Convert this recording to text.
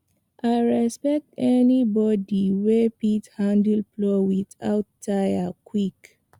i respect anybody wey fit handle plow without tire quick